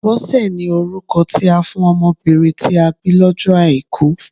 Bọ́sẹ̀ ni orúkọ tí a fún ọmọbìnrin tí a bí lọ́jọ́ Àìkú